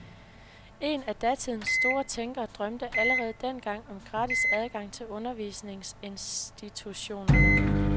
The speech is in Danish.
En af datidens store tænkere drømte allerede dengang om gratis adgang til undervisningsinstitutionerne.